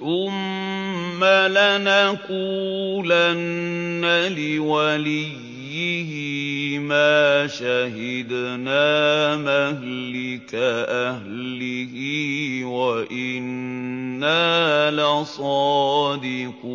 ثُمَّ لَنَقُولَنَّ لِوَلِيِّهِ مَا شَهِدْنَا مَهْلِكَ أَهْلِهِ وَإِنَّا لَصَادِقُونَ